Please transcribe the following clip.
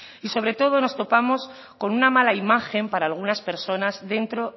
y sobre todo nos topamos con una mala imagen para algunas personas dentro